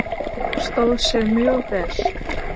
Stóð sig mjög vel.